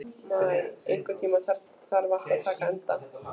Maj, einhvern tímann þarf allt að taka enda.